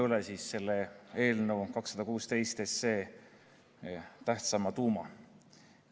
Kordan üle eelnõu 216 tuuma.